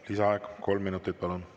Lisaaeg kolm minutit, palun!